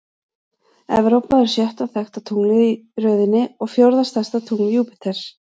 Evrópa er sjötta þekkta tunglið í röðinni og fjórða stærsta tungl Júpíters.